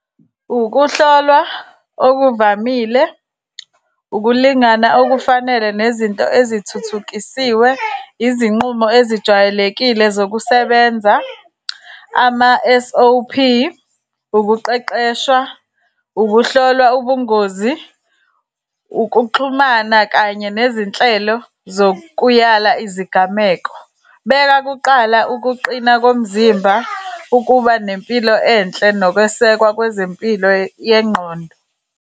Ukuhlolwa okuvamile, ukulingana okufanele nezinto ezithuthukisiwe, izinqumo ezijwayelekile zokusebenza, ama-S_O_P. Ukuqeqeshwa, ukuhlolwa ubungozi, ukuxhumana kanye nezinhlelo zokuyala izigameko. Beka kuqala ukuqina komzimba, ukuba nempilo enhle, nokwesekwa kwezempilo yengqondo.